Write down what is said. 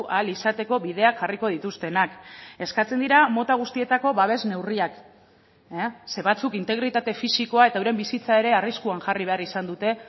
ahal izateko bideak jarriko dituztenak eskatzen dira mota guztietako babes neurriak ze batzuk integritate fisikoa eta euren bizitza ere arriskuan jarri behar izan dute